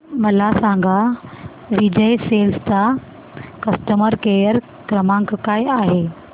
मला सांगा विजय सेल्स चा कस्टमर केअर क्रमांक काय आहे